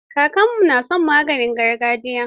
Kakarmu na son maganin gargajiya.